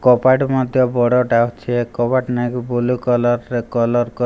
କବାଟ ମଧ୍ୟ ବଡ଼ଟା ଅଛି ଏ କବାଟକୁ ବ୍ଲୁ କାଳର ରେ କଲର --